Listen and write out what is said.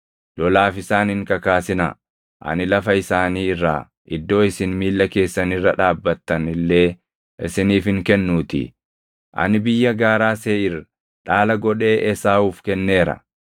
Lolaaf isaan hin kakaasinaa; ani lafa isaanii irraa iddoo isin miilla keessan irra dhaabbattan illee isiniif hin kennuutii. Ani biyya gaaraa Seeʼiir dhaala godhee Esaawuuf kenneera.